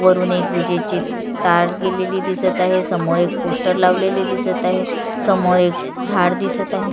वरुन एक विजेची तार गेलेली दिसत आहे समोर एक पोस्टर लावलेले दिसत आहे समोर एक झाड दिसत आहे.